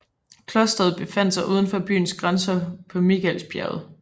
Klostret befandt sig uden for byens grænser på Mikaelsbjerget